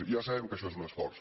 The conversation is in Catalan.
ja sabem que això és un esforç